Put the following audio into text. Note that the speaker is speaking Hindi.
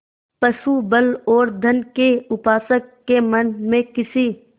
पशुबल और धन के उपासक के मन में किसी